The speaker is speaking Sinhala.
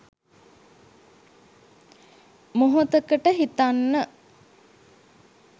මොහොතකට හිතන්න